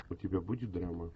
у тебя будет драма